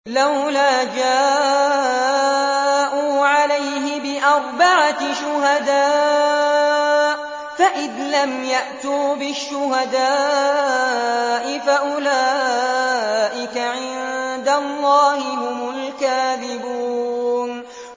لَّوْلَا جَاءُوا عَلَيْهِ بِأَرْبَعَةِ شُهَدَاءَ ۚ فَإِذْ لَمْ يَأْتُوا بِالشُّهَدَاءِ فَأُولَٰئِكَ عِندَ اللَّهِ هُمُ الْكَاذِبُونَ